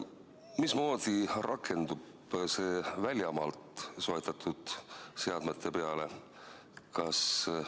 Mismoodi rakendub see väljamaalt soetatud seadmete peale?